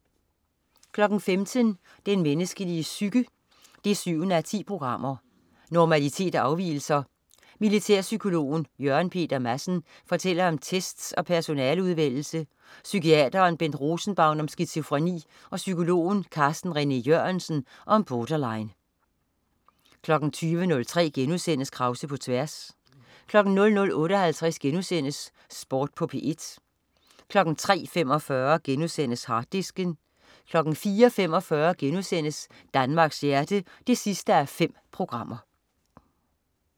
15.00 Den menneskelige psyke 7:10. Normalitet og afvigelser. Militærpsykolog Jørgen Peter Madsen fortæller om tests og personaleudvælgelse, psykiateren Bent Rosenbaum om skizofreni og psykologen Carsten René Jørgensen om borderline 20.03 Krause på tværs* 00.58 Sport på P1* 03.45 Harddisken* 04.45 Danmarks hjerte 5:5*